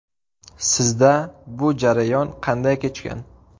Sizda bu jarayon qanday kechgan?